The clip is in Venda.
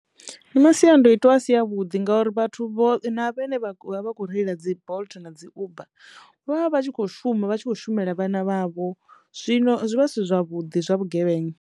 Ndi masiandoitwa a si a vhuḓi ngauri vhathu vho na vhene vha ḓo vha vha kho reila dzi Bolt na dzi Uber vha vha vha tshi kho shuma vha tshi khou shumela vhana vhavho, zwino zwi vha zwi si zwavhuḓi zwa vhugevhenga.